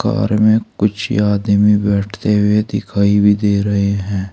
Car में कुछ आदमी बैठते हुए दिखाई भी दे रहे हैं।